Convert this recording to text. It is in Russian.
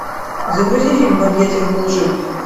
загрузи фильм в объятьях лжи